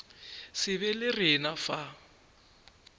se be le rena fa